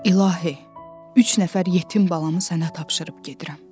İlahi, üç nəfər yetim balamı sənə tapşırıb gedirəm.